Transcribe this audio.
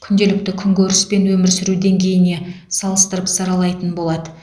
күнделікті күнкөріс пен өмір сүру деңгейіне салыстырып саралайтын болады